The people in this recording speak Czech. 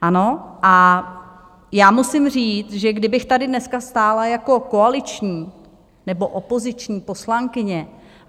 Ano, a já musím říct, že kdybych tady dneska stála jako koaliční nebo opoziční poslankyně.